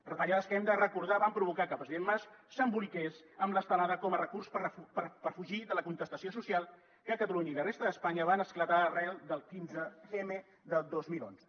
retallades que ho hem de recordar van provocar que el president mas s’emboliqués amb l’estelada com a recurs per fugir de la contestació social que a catalunya i la resta d’espanya va esclatar arran del quinze m del dos mil onze